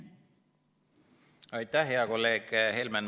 Aitäh, hea kolleeg Helmen!